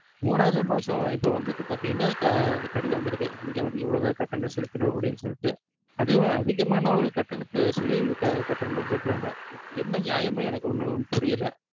மூணாவது மாசம் இப்ப வந்துட்டு பாத்தீங்கன்னா க~ கடிதம் வந்திருக்கு நீங்க வந்து இவ்ளதா கட்டணம் செலுத்தணும் அப்படினு சொல்ட்டு அதுவும் அதிகமானா ஒரு கட்டணத்த சொல்லி இது க~ கட்டணும் னு சொல்றாங்க, என்ன நியாயம் னு எனக்கு ஒண்ணும் புரியல